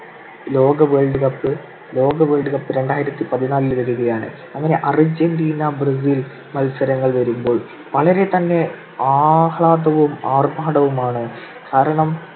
ലോക world cup ~ ലോക world cup രണ്ടായിരത്തിപതിനാലിൽ വരികയാണ്. അങ്ങനെ അർജന്റീന ബ്രസീൽ മത്സരങ്ങൾ വരുമ്പോൾ വളരെ തന്നെ ആഹ്ളാദവും ആർഭാടവുമാണ്. കാരണം